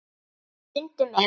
Stundum er